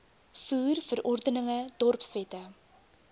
voer verordeninge dorpswette